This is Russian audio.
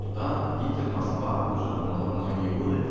туда питер-москва уже там мно многие годы